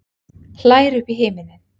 Hlær upp í himininn.